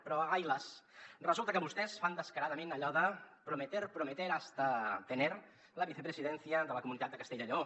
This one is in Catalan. però ai las resulta que vostès fan descaradament allò de prometer prometer hasta tener la vicepresidencia de la comunitat de castella i lleó